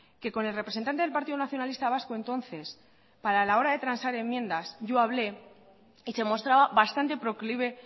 que con el representante del partido nacionalista vasco entonces para la hora de transar enmiendas yo hablé y se mostraba bastante proclive